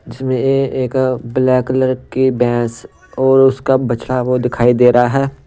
जिसमें एक black colour की भैंस और उसका बछड़ा वो दिखाई दे रहा है।